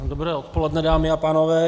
Dobré odpoledne, dámy a pánové.